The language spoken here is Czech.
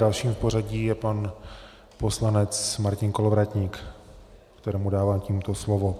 Dalším v pořadí je pan poslanec Martin Kolovratník, kterému dávám tímto slovo.